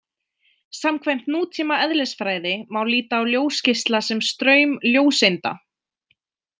Samkvæmt nútíma eðlisfræði má líta á ljósgeisla sem straum ljóseinda.